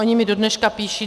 Oni mi dodneška píší.